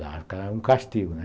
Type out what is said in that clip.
era um castigo, né?